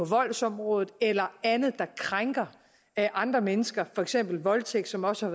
voldsområdet eller andet der krænker andre mennesker for eksempel voldtægt som også